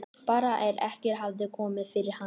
Bara að ekkert hefði komið fyrir hann.